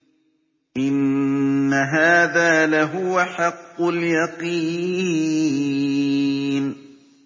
إِنَّ هَٰذَا لَهُوَ حَقُّ الْيَقِينِ